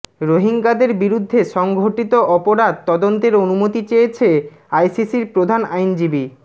রোহিঙ্গাদের বিরুদ্ধে সংঘটিত অপরাধ তদন্তের অনুমতি চেয়েছে আইসিসির প্রধান আইনজীবী